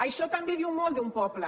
això també diu molt d’un poble